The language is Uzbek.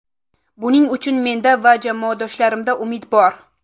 Buning uchun menda va jamoadoshlarimda umid bor.